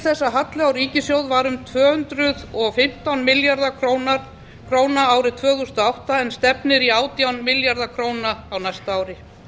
að halli á ríkissjóði var um tvö hundruð og fimmtán milljarðar króna árið tvö þúsund og átta en stefnir í átján milljarða króna á næsta ári